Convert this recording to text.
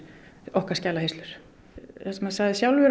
okkar skjalahirslur það sem hann sagði sjálfur